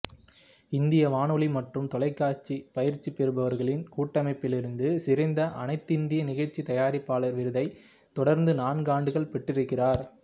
இந்திய வானொலி மற்றும் தொலைக்காட்சி பயிற்சிபெறுபவர்களின் கூட்டமைப்பிலிருந்து சிறந்த அனைத்திந்திய நிகழ்ச்சி தயாரிப்பாளர் விருதுஐ தொடர்ந்து நான்கு ஆண்டுகள் பெற்றிருக்கிறார்